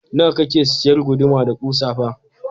Nawa kake sayar guduma da kusa fa?